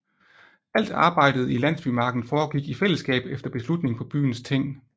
Alt arbejdet i landsbymarken foregik i fællesskab efter beslutning på byens ting